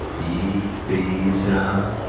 пить призрак